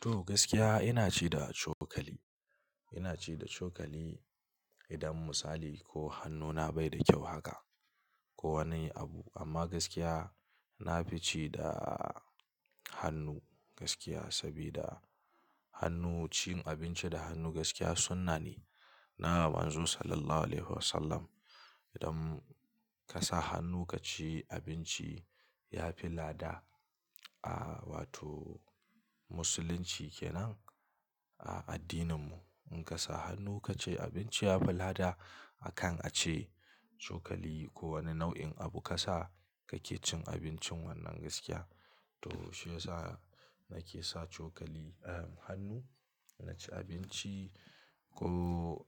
To, gaskiya ina ci da cokali. Ina ci da cokali idan misali ko hannuna bai da ƙyau haka ko wani abu. Amma gaskiya nafi ci da hannu gaskiya, saboda hannu cin abinci da hannu gaskiya sunnah ne na Manzon Sallallahu Alaihi Wasallam. Idan kasa hannu kaci abinci yafi lada a wato Musulunci kenan a addininmu. Inka sa hannu kaci abinci yafi lada akan ace cokali ko wani nau'in abu ka sa kake cin abincin wannan gaskiya. To shiyasa nake sa cokali hannu na ci abinci ko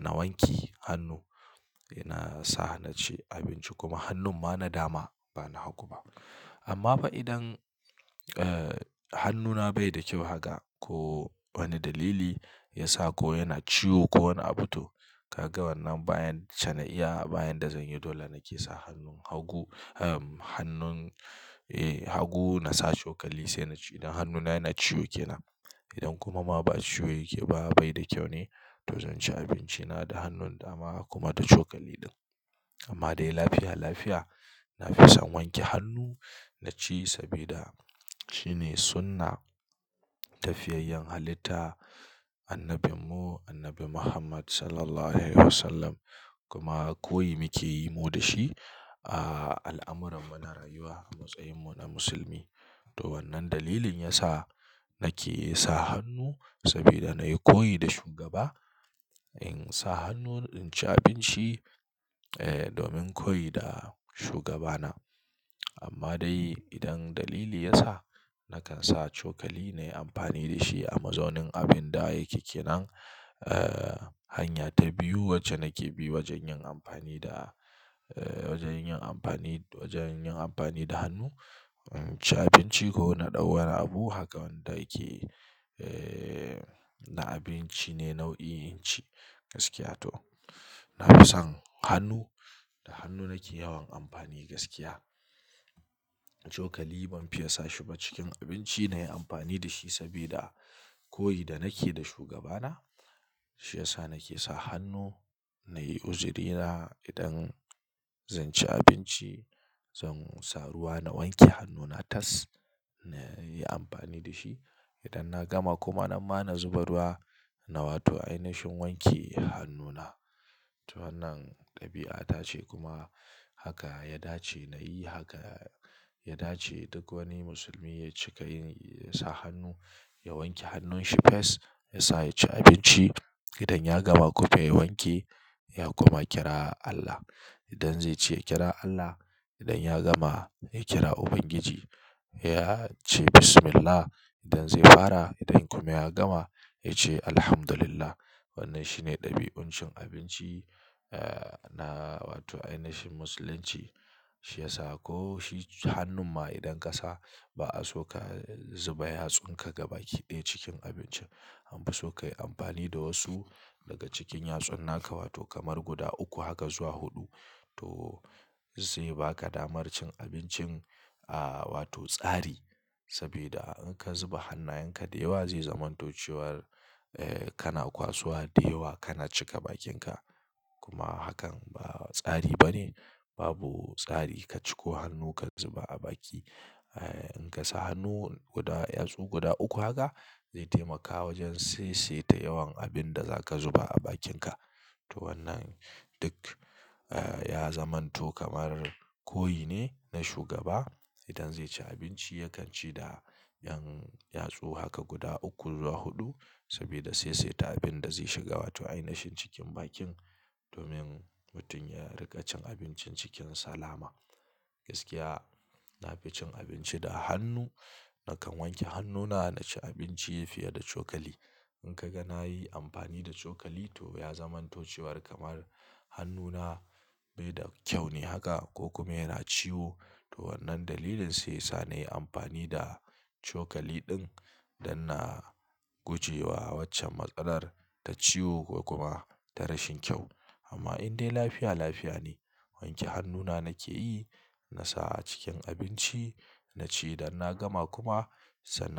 na wanke hannu ina sa naci abinci kuma hannun ma na dama, bana hagu ba. Amma fa idan hannuna baida ƙyau haka ko wani dalili yasa ko yana ciwo ko wani abu to kaga wannan bayacce na iya ba yanda zanyi, dole nake sa hannun hagu. Hannun hagu nasa cokali sai naci idan hannuna yana ciwo kenan. Idan kuma ba ciwo yake ba, baida kyau ne to zanci abinci na da hannun dama kuma da cokali din. Amma dai lafiya lafiya nafi son wanke hannu naci sabida shine sunnah ta fiyayyen halitta. Annabinmu Annabi Muhammad Sallallahu Alaihi Wasallam kuma koyi muke yi mu dashi a al'amuran mu na rayuwa a matsayin mu na musulmi. To wannan dalilin yasa nake sa hannu saboda nayi koyi da shugaba. In sa hannun in ci abinci domin koyi da shugabana. Amma dai idan dalili ya sa nakan sa cokali nayi amfani dashi a mazaunin abin da yake kenan hanya ta biyu wacce nake bi wajen yin amfani da wajen yin amfani, wajen yin amfani da hannu. Cin abinci ko na ɗau wani abu haka wanda yake na abinci ne nau'in cin gaskiya. To nafi son hannu da hannu nake yawan amfani gaskiya. Cokali ban fiya sashi ba cikin abinci nayi amfani dashi sabida koyi da nake da shugabana. Shiyasa nake sa hannu nayi uzurina idan zan ci abinci, zansa ruwa na wanke hannuna tas nayi amfani dashi. Idan na gama kuma nan ma na zuba ruwa na wato ainihin wanke hannuna. To wannan ɗabi'a ta ce kuma haka ya dace nayi haka ya dace duk wani musulmi ya cika yin, yasa hannu ya wanke hannunshi fes yasa yaci abinci. Idan ya gama kuma ya wanke ya kuma kira Allah. Idan zaici ya kira Allah. Idan ya gama ya kira Ubangiji ya ce Bismillah. Idan zai fara idan kuma ya gama ya ce Alhamdulillah. Wannan shine ɗabi'un cin abinci na wato ainihin Musulunci. Shi ya sa ko shi hannun ma idan ka sa ba a so ka zuba yatsun ka gaba kiɗe cikin abincin. Anfi so kayi amfani da wasu daga cikin yatsunna ka wato kamar guda uku haka zuwa huɗu. To saiya baka damar cin abincin a wato tsari saboda in ka zuba hannayenka da yawa zai zamanto cewar kana kwasowa da yawa kana cika bakinka. Kuma hakan ba tsari bane. Babu tsari ka ciko hannu ka zuba a baki. In kasa hannu guda yatsu guda uku haka zai taimaka wajen saisaita yawan abinda zaka zuba a bakinka. To wannan duk ya zamanto kamar koyi ne na shugaba. Idan zaici abinci yakan ci da yan yatsu haka guda uku zuwa huɗu saboda saisaita abinda zai shiga wato ainihin cikin bakin domin mutum ya riƙa cin abincin cikin salama. Gaskiya nafi cin abinci da hannu. Nakan wanke hannuna naci abinci fiye da cokali. In kaga nayi amfani da cokali to ya zamanto cewar kamar hannuna bai da ƙyau ne haka ko kuma yana ciwo. To wannan dalilin sai yasa nayi amfani da cokali ɗin don na gujewa waccar matsalar ta ciwo kuma ta rashin ƙyau. Amma in dai lafiya lafiya ne wanke hannuna nake yi nasa a cikin abinci naci. Idan na gama kuma sanan.